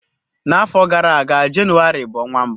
N'afọ gara aga, Jenụwarị bụ ọnwa mbụ.